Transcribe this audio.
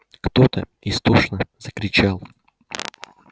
кто-то истошно закричал